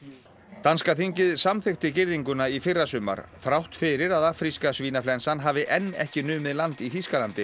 danska þingið samþykkti girðinguna í fyrrasumar þrátt fyrir að afríska svínaflensan hafi enn ekki numið land í Þýskalandi